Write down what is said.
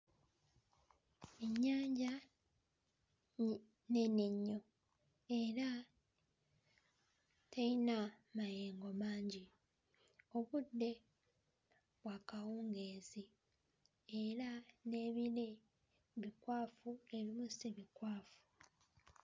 Ennyanja mm nnene nnyo era teyina mayengo mangi obudde bwa kawungeezi era n'ebire bikwafu ebimu si bikwafu.